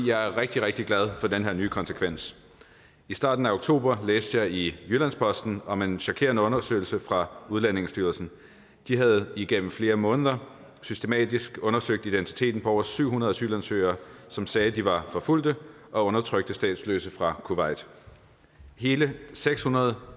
jeg er rigtig rigtig glad for den her nye konsekvens i starten af oktober læste jeg i jyllands posten om en chokerende undersøgelse fra udlændingestyrelsen de havde igennem flere måneder systematisk undersøgt identiteten på over syv hundrede asylansøgere som sagde at de var forfulgte og undertrykte statsløse fra kuwait hele seks hundrede og